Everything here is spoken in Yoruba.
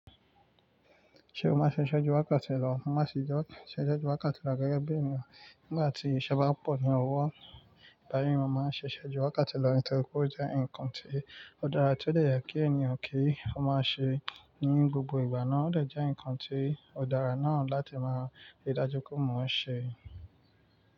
Ṣé o máa ṣe ṣẹ́jú wakáti lọ? Má ṣe jo se ṣẹ́jú wakati rà gẹ́gẹ́ bí ènìyàn. Nígbà tí iṣẹ́ bá pọ̀ ní ọwọ́, lárí yan máa ń ṣẹṣẹ jú wakati lọ nítorí pé ó jẹ́ ǹkan tí ó dára, tí ó de yẹ kí ènìyàn kí ó máa ṣe ní gbogbo ìgbà náà ó dè jẹ́ ǹkan tí ó dára náà láti máa rí i dájú ko mo ṣe.